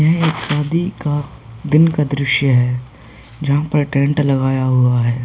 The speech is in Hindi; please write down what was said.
यह एक शादी का दिन का दृश्य है जहां पर टेंट लगाया हुआ है।